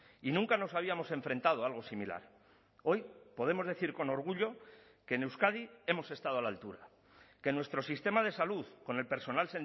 y nunca nos habíamos enfrentado a algo similar hoy podemos decir con orgullo que en euskadi hemos estado a la altura que en nuestro sistema de salud con el personal